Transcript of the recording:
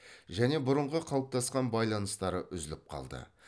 және бұрынғы қалыптасқан байланыстары үзіліп қалды